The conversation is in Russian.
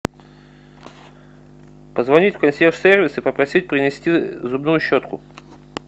позвонить в консьерж сервис и попросить принести зубную щетку